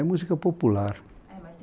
É música popular.